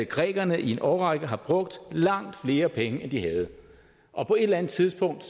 grækerne i en årrække har brugt langt flere penge end de havde og på et eller andet tidspunkt